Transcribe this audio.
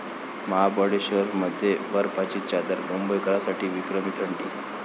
महाबळेश्वरमध्ये बर्फाची चादर, मुंबईकरांसाठी विक्रमी थंडी